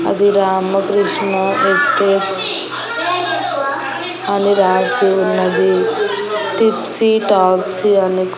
అది రామకృష్ణ ఎస్టేట్స్ అని రాసి ఉన్నది టిప్సీ టాప్సీ అని కూ--